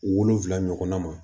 Wolonfila ɲɔgɔnna ma